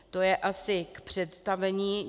To je asi k představení.